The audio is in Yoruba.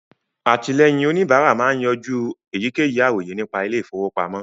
Àtìlẹ́yìn òníbárà máa ń yanjú èyíkéyìí àròyé nípa ilé ìfọwọ́pamọ́